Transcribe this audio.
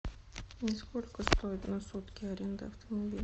сколько стоит на сутки аренда автомобиля